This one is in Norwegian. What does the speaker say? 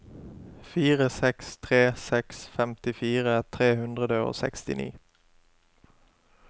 fire seks tre seks femtifire tre hundre og sekstini